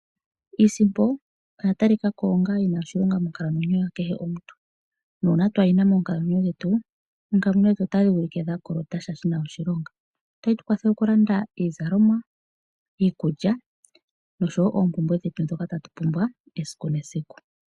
Iisimpo oya talikako onga yi na iilonga monkalamwenyo yomuntu kehe. Uuna kaa tu yi na ohatu kala twa kolota sha shi na oshilonga. Ohayi tu kwathele opo tu lande iizalomwa, iikulya nosho woo oompumbwe dhetu dha kehe esiku.